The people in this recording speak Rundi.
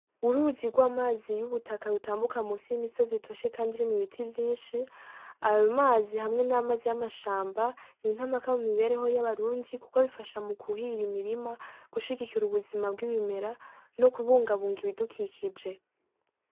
Uruzi rw'amazi yubutaka rutambuka musi y'imisozi itoshe kandi irimwo ibiti vyinshi ayo mazi hamwe n'amazi y'amashamba ni intamaka mu mibereho y'abarundi kuko bifasha mu kuhira imirima gushigikira ubuzima bwibimera no kubungabunga ibidukikije